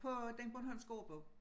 På den bornholmske ordbog